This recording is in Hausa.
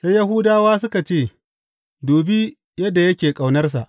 Sai Yahudawa suka ce, Dubi yadda yake ƙaunarsa!